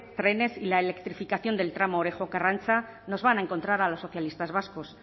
trenes y la electrificación del tramo orejo karrantza nos van a encontrar a los socialistas vascos